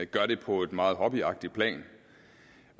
gør det på et meget hobbyagtigt plan